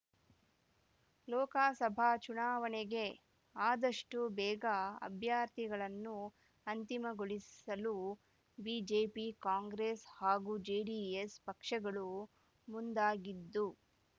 ಲೋಕಸಭಾ ಚುನಾವಣೆಗೆ ಆದಷ್ಟು ಬೇಗ ಅಭ್ಯರ್ಥಿಗಳನ್ನು ಅಂತಿಮಗೊಳಿಸಲು ಬಿಜೆಪಿ ಕಾಂಗ್ರೆಸ್ ಹಾಗೂ ಜೆಡಿಎಸ್ ಪಕ್ಷಗಳು ಮುಂದಾಗಿದ್ದು